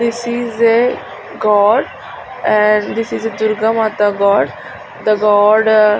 this is a god and this is a Durgamata god the god ah --